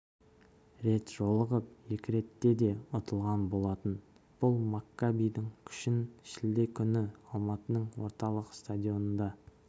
рет жолығып екі ретте де ұтылған болатын бұл маккабидің күшін шілде күні алматының орталық стадионында